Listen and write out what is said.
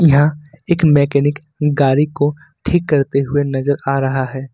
यहां एक मैकेनिक गाड़ी को ठीक करते हुए नजर आ रहा है।